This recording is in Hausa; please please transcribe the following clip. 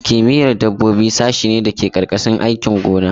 Kimiyyar dabbobi sashe ne da ke ƙarƙashin sashin aikin gona.